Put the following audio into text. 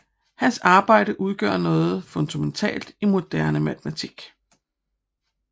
Hans arbejde udgør noget fundamentalt i moderne matematik